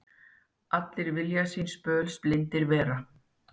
Allir vilja síns böls blindir vera.